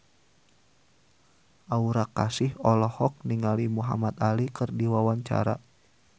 Aura Kasih olohok ningali Muhamad Ali keur diwawancara